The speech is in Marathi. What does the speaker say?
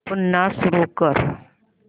पुन्हा सुरू कर